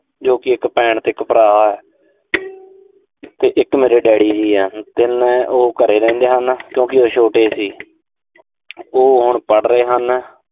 ਜੋ ਕਿ ਇੱਕ ਭੈਣ ਤੇ ਇੱਕ ਭਰਾ ਤੇ ਇੱਕ ਮੇਰੇ daddy ਵੀ ਆ। ਤਿੰਨੇ ਉਹ ਘਰੇ ਰਹਿੰਦੇ ਹਨ, ਕਿਉਂਕਿ ਉਹ ਛੋਟੇ ਸੀ। ਉਹ ਹੁਣ ਪੜ੍ਵ੍ ਰਹੇ ਹਨ।